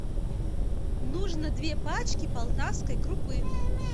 нужно две пачки полтавской крупы